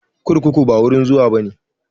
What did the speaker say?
Kurkuku ba wurin zuwa bane